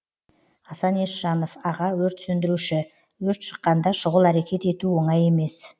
асан есжанов аға өрт сөндіруші өрт шыққанда шұғыл әрекет ету оңай емес